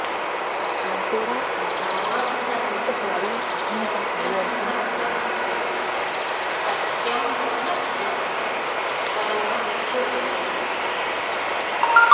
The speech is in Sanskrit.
धर्मः स नो यत्र न सत्यमस्ति सत्यं न तद्यच्छलमभ्युपैति